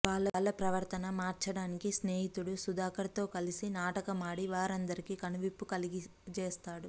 వాళ్ళ ప్రవర్తన మార్చడానికి స్నేహితుడు సుధాకర్ తో కలిసి నాటకమాడి వారందరికీ కనువిప్పు కలుగజేస్తాడు